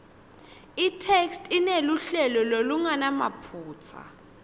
itheksthi ineluhlelo lolungenamaphutsa